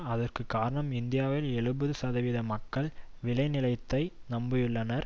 அதற்கு காரணம் இந்தியாவின் எழுபது சதவிகித மக்கள் விளைநிலைத்தை நம்பியுள்ளனர்